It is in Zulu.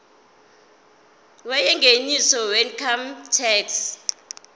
yengeniso weincome tax